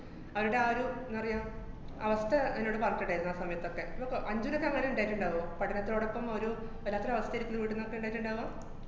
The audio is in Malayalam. അവരുടെ ആ ഒരു ന്താ പറയാ, അവസ്ഥ എന്നോട് പറഞ്ഞിട്ടുണ്ടേര്ന്ന് ആ സമയത്തൊക്കെ. ന്നിപ്പ അഞ്ജൂനൊക്കെ അങ്ങനെ ഇണ്ടായിട്ട്ണ്ടാവോ? പഠനത്തിനോടൊപ്പം ഒരു വല്ലാത്തൊരു അവസ്ഥേല് പിടിപെടുന്നൊക്കെ ഇണ്ടായിട്ടുണ്ടാവോ?